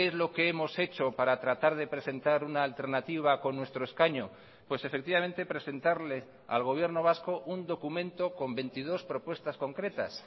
lo que hemos hecho para tratar de presentar una alternativa con nuestro escaño pues efectivamente presentarle al gobierno vasco un documento con veintidós propuestas concretas